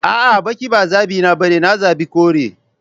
A'a, baki ba zabina bane, na zabi kore.